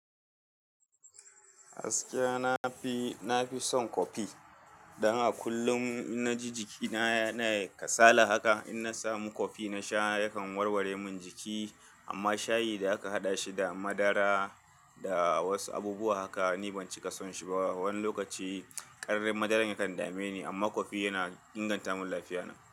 Gaskiya na fi, na fi son kofi. Dan a kullum in na ji jikina yana kasala haka, in na samu kofi na sha yakan warware min jiki. Amma shayi da aka haɗa shi da madara da wasu abubuwa haka ni ban cika son shi ba. Wani lokaci ƙarin madarar yakan dame ni, amma kofi yana inganta min lafiyata.